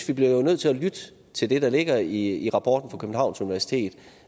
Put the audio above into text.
vi bliver nødt til at lytte til det der ligger i rapporten fra københavns universitet